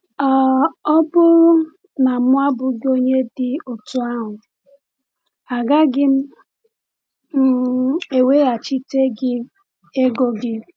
um “Ọ um bụrụ na m abụghị onye dị otú ahụ, agaghị m um eweghachite gị ego gị.”